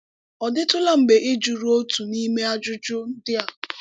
Ọ̀ dị̀tụ̀lá mgbè í jùrù òtù n’ímé àjùjù ndí a?